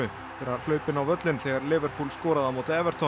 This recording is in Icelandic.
fyrir að hlaupa inn á völlinn þegar skoraði á móti